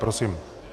Prosím.